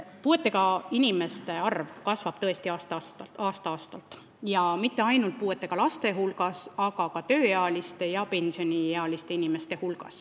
Puudega inimeste arv kasvab tõesti aasta-aastalt ja mitte ainult puudega laste arv, aga ka puudega tööealiste ja pensioniealiste inimeste arv.